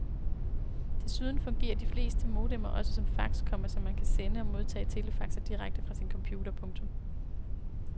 Desuden fungerer de fleste modemer også som fax, komma så man kan sende og modtage telefaxer direkte fra sin computer. punktum